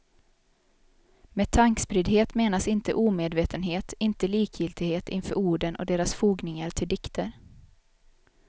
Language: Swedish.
Med tankspriddhet menas inte omedvetenhet, inte likgiltighet inför orden och deras fogningar till dikter.